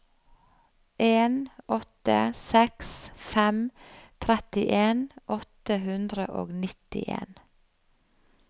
en åtte seks fem trettien åtte hundre og nittien